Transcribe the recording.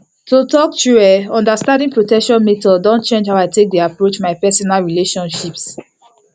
to talk true eh understanding protection methods don change how i take dey approach my personal relationships